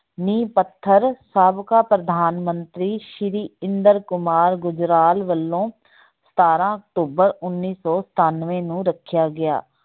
ਨੀਂਹ ਪੱਥਰ ਸਾਬਕਾ ਪ੍ਰਧਾਨ ਮੰਤਰੀ ਸ੍ਰੀ ਇੰਦਰ ਕੁਮਾਰ ਗੁਜਰਾਲ ਵੱਲੋਂ ਸਤਾਰਾਂ ਅਕਤੂਬਰ ਉੱਨੀ ਸੌ ਸਤਾਨਵੇਂ ਨੂੰ ਰੱਖਿਆ ਗਿਆ।